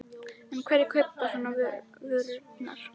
En hverjir kaupa svo vörurnar?